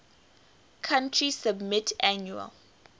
country submit annual